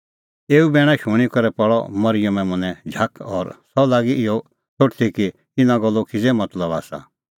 एऊ बैणा शूणीं करै पल़अ मरिअमे मनैं झाख और सह लागी इहअ सोठदी कि इना गल्लो किज़ै मतलब आसा